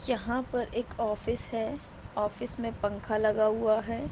यहाँ पर एक ऑफिस है। ऑफिस में पंखा लगा हुआ है।